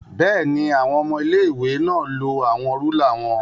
Bẹẹni, awọn ọmọ ilé-ìwé náà lo awọn rúlà wọn